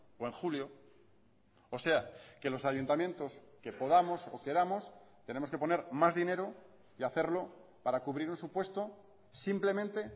o en julio o sea que los ayuntamientos que podamos o queramos tenemos que poner más dinero y hacerlo para cubrir un supuesto simplemente